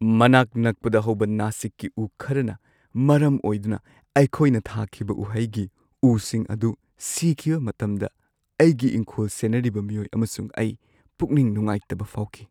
ꯃꯅꯥꯛ ꯅꯛꯄꯗ ꯍꯧꯕ ꯅꯥꯁꯤꯛꯀꯤ ꯎ ꯈꯔꯅ ꯃꯔꯝ ꯑꯣꯏꯗꯨꯅ ꯑꯩꯈꯣꯏꯅ ꯊꯥꯈꯤꯕ ꯎꯍꯩꯒꯤ ꯎꯁꯤꯡ ꯑꯗꯨ ꯁꯤꯈꯤꯕ ꯃꯇꯝꯗ ꯑꯩꯒꯤ ꯏꯪꯈꯣꯜ ꯁꯦꯟꯅꯔꯤꯕ ꯃꯤꯑꯣꯏ ꯑꯃꯁꯨꯡ ꯑꯩ ꯄꯨꯛꯅꯤꯡ ꯅꯨꯡꯉꯥꯏꯇꯕ ꯐꯥꯎꯈꯤ꯫